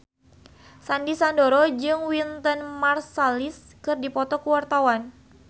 Sandy Sandoro jeung Wynton Marsalis keur dipoto ku wartawan